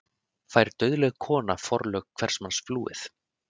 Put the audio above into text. Fær dauðleg kona forlög hvers manns flúið?